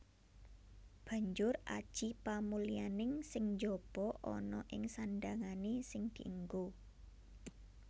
Banjur aji pamulyaning sing njaba ana ing sandhangané sing dienggo